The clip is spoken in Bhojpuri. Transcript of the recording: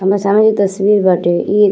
हमार सामने जो तस्वीर बाटे ई --